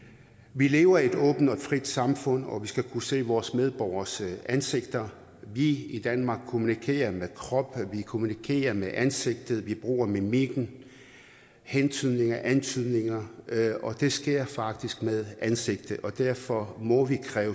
vi lever i et åbent og frit samfund og vi skal kunne se vores medborgeres ansigter vi i danmark kommunikerer med kroppen vi kommunikerer med ansigtet vi bruger mimik hentydninger og antydninger og det sker faktisk med ansigtet og derfor må vi